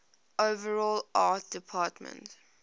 overall art department